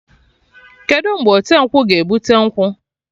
Kedụ mgbe ọte nkwụ ga-ebute nkwụ?